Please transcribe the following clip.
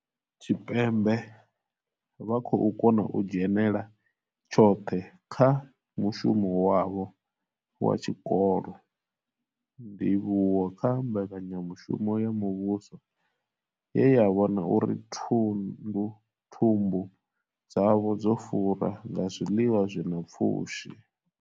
Tshipembe vha khou kona u dzhenela tshoṱhe kha mushumo wavho wa tshikolo, ndivhuwo kha mbekanyamushumo ya muvhuso ye ya vhona uri thumbu dzavho dzo fura nga zwiḽiwa zwi na pfushi.